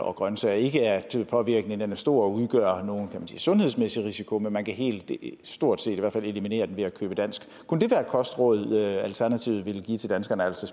og grønsager ikke at påvirkningen er stor og udgør nogen sundhedsmæssig risiko men man kan helt stort set i hvert fald eliminere den ved at købe dansk kunne det være et kostråd alternativet ville give til danskerne altså